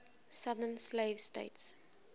southern slave states